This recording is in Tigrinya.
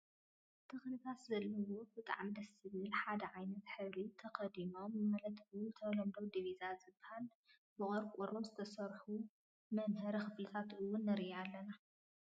ተክልታት ዘለዎን ብጣዕሚ ደስ ዝብልን ሓደ ዓይነት ሕብሪ ተከዲኖም ማለት እውን ብተለምዶ ዲቪዛ ዝብሃል ብቆርቆሮ ዝተሰርሑ ምምሀሪ ክፍልታት እውን ንርኢ ኣለና።